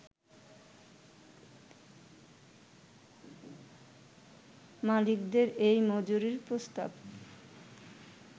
মালিকদের এই মজুরির প্রস্তাব